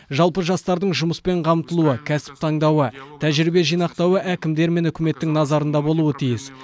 жалпы жастардың жұмыспен қамтылуы кәсіп таңдауы тәжірибе жинақтауы әкімдер мен үкіметтің назарында болуы тиіс